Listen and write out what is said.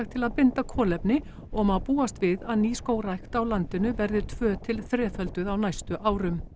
til að binda kolefni og má búast við að nýskógrækt á landinu verði tvö til þrefölduð á næstu árum